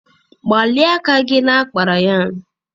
Gbalịa aka gị na kpara yarn!